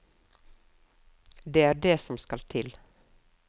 Det er det som skal til.